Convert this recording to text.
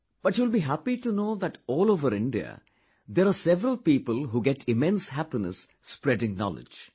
But you will be happy to know that all over India there are several people who get immense happiness spreading knowledge